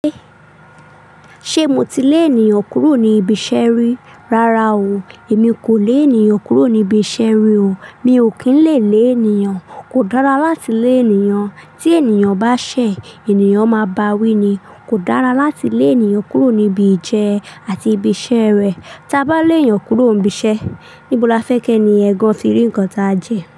Ṣé mo ti lé ènìyàn kúrò ní ibi iṣẹ́ rí? Rárá o. Èmi kò lé ènìyàn kúrò níbi iṣẹ́ rí o. Mi ò kín lè lé ènìyàn. Kò dára láti lé ènìyàn. Tí ènìyàn bá ṣẹ̀, ènìyàn máa bá wí ni, kò dára láti lé ènìyàn kúrò níbi ìjẹ àti ibi iṣẹ́ rẹ̀. Tí a bá lé ènìyàn kúrò níbi iṣẹ́, níbo la fẹ́ kí ẹni yẹn gàn ti rí nǹkan tá jẹ?